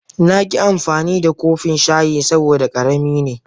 Na ki amfani da kofin shayin saboda karemi ne.